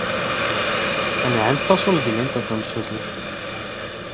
Hann er ennþá svolítið leyndardómsfullur.